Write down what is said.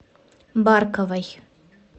барковой